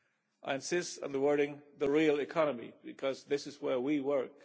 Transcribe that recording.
I insist on the wording the real economy', because this is where we work.